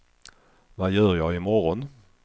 vad gör jag imorgon